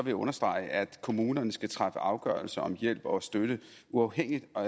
jeg understrege at kommunerne skal træffe afgørelse om hjælp og støtte uafhængigt af